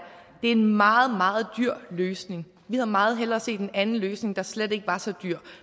en meget meget dyr løsning vi havde meget hellere set en anden løsning der slet ikke var så dyr